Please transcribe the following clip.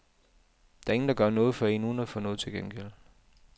Der er ingen der gør noget for en uden at få noget til gengæld.